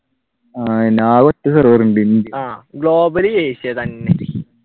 ആഹ് ആകെ ഒറ്റ server ഉണ്ട്